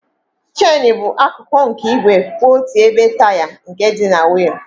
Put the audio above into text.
Chènú bụ akụkụ nke igwe kwụ otu ebe taya nke dị na wịịl.